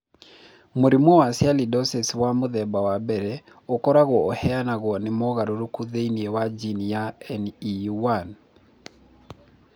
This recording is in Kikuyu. Mũrimũ wa Sialidosis wa mũthemba wa I ũkoragwo ũrehagwo nĩ mogarũrũku thĩinĩ wa jini ya NEU1.